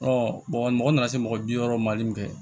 mɔgɔ nana se mɔgɔ bi wɔɔrɔ mali kɛ